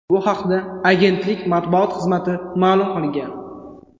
Bu haqda agentlik matbuot xizmati ma’lum qilgan .